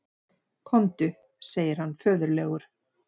Komdu, segir hann föðurlegur.